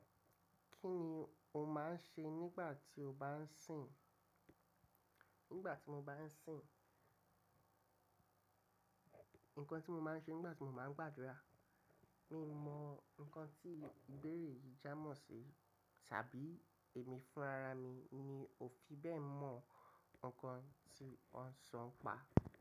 Kí ni o máa ń ṣe nígbà tí o bá ń sìn? Nígbà tí mo bá ń sìn, nǹkan tí mo máa ń ṣe nígbà tí mo bá ń gbàdúrà, mi mọ nǹkan tí ìbéèrè yìí jámọ̀ sí tàbí èmi fúnra mi ni òfi bẹ́ẹ̀ mọ nǹkan tí wọn sọ npa.